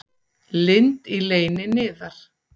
Lind í leyni niðar.